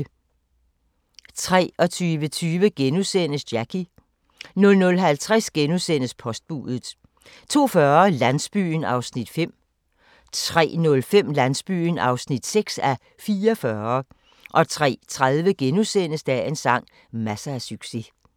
23:20: Jackie * 00:50: Postbudet * 02:40: Landsbyen (5:44) 03:05: Landsbyen (6:44) 03:30: Dagens sang: Masser af succes *